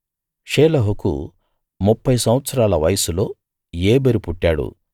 షేలహుకు ముప్ఫై సంవత్సరాల వయస్సులో ఏబెరు పుట్టాడు